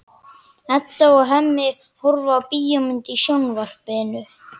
Edda og Hemmi horfa á bíómynd í sjónvarpinu.